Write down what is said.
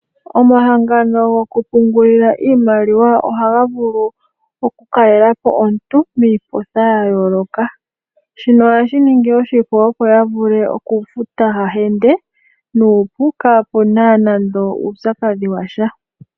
Omahangono gokupungulila iimaliwa ohagavulu okukalelapo omuntu miipotha yayooloka, shino ohashiningi oshipu opo yavule okufuta hahende kaapuna nando uupyakadhi washa.